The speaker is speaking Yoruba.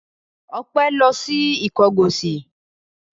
Ọpẹ́ lọ sí Ìkọgọ̀sì?